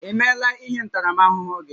I meela ihe ntaramahụhụ gị?